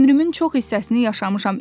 Ömrümün çox hissəsini yaşamışam.